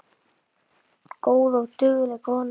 Góð og dugleg kona